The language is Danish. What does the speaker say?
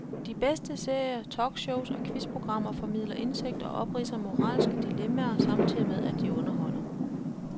De bedste serier, talkshows og quizprogrammer formidler indsigt og opridser moralske dilemmaer, samtidig med at de underholder.